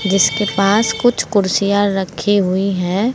जिसके पास कुछ कुर्सियां रखी हुई हैं।